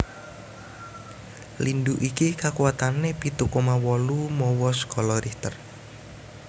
Lindhu iki kakuwatané pitu koma wolu mawa skala Richter